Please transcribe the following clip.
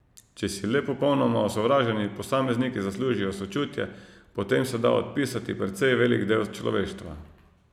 Če si le popolnoma osovraženi posamezniki zaslužijo sočutje, potem se da odpisati precej velik del človeštva.